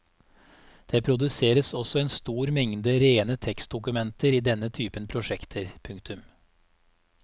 Det produseres også en stor mengde rene tekstdokumenter i denne typen prosjekter. punktum